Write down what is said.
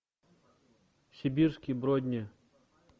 сибирские бродни